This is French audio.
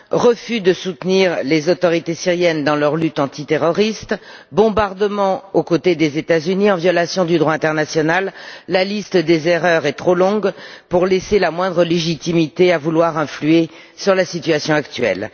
refus de soutenir les autorités syriennes dans leur lutte antiterroriste, bombardements aux côtés des États Unis en violation du droit international, la liste des erreurs est trop longue pour laisser la moindre légitimité à la volonté d'influer sur la situation actuelle.